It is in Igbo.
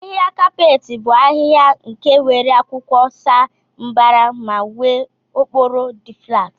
ahiha kapeeti bu ahiha nke nwere akwụkwọ sa mbara ma nwee okporo di flat.